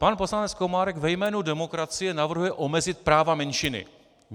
Pan poslanec Komárek ve jménu demokracie navrhuje omezit práva menšiny.